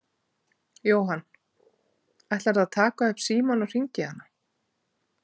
Jóhann: Ætlarðu að taka upp símann og hringja í hana?